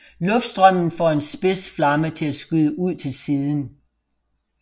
Luftstrømmen får en spids flamme til at skyde ud til siden